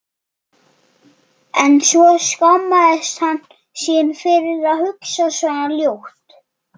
En svo skammaðist hann sín fyrir að hugsa svona ljótt.